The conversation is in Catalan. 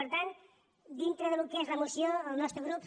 per tant dintre del que és la moció el nostre grup